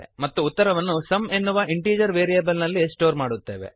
ಮತ್ತು ಉತ್ತರವನ್ನು ಸುಮ್ ಎನ್ನುವ ಇಂಟೀಜರ್ ವೇರಿಯಬಲ್ ನಲ್ಲಿ ಸ್ಟೋರ್ ಮಾಡುತ್ತೇವೆ